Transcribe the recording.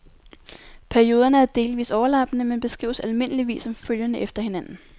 Perioderne er delvis overlappende, men beskrives almindeligvis som følgende efter hinanden.